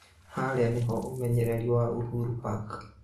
haria nĩho ũmenyereri wa Uhuru park